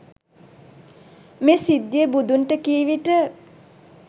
මේ සිද්ධිය බුදුන්ට කීවිට